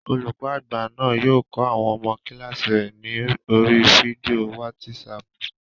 Olùkọ́ àgbà náà yóò kọ́ àwọn ọmọ kílààsì rẹ̀ ní oríi fídíò wátísapù